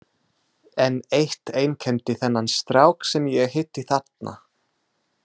En eitt einkenndi þennan strák sem ég hitti þarna.